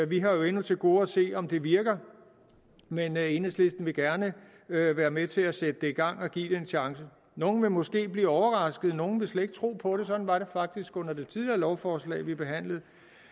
vi har endnu til gode at se om det virker men enhedslisten vil gerne være være med til sætte det i gang og give det en chance nogle vil måske blive overrasket nogle vil slet ikke tro på det sådan var det faktisk under det tidligere lovforslag vi behandlede